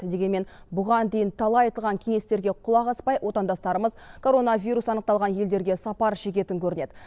дегенмен бұған дейін талай айтылған кеңестерге құлақ аспай отандастарымыз коронавирус анықталған елдерге сапар шегетін көрінеді